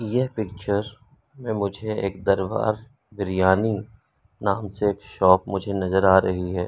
ये पिक्चर में मुझे एक दरबार बिरियानी नाम से एक शॉप मुझे नजर आ रही है।